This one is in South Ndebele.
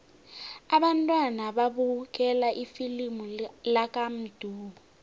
abantwana babukele ifilimu lakamdu